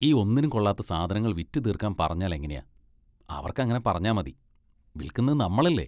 ഈ ഒന്നിനും കൊള്ളാത്ത സാധനങ്ങൾ വിറ്റുതീർക്കാൻ പറഞ്ഞാൽ എങ്ങനെയാ? അവർക്കെങ്ങനെ പറഞ്ഞാൽ മതി, വിൽക്കുന്നത് നമ്മളല്ലേ!